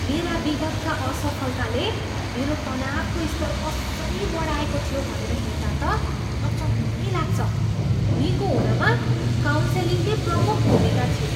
मेरा विगतका असफलताले मेरो तनावको स्तर कसरी बढाएको थियो भनेर हेर्दा त अचम्मै लाग्छ। निको हुनमा काउन्सेलिङकै प्रमुख भूमिका थियो।